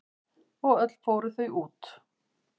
Og öll fóru þau út.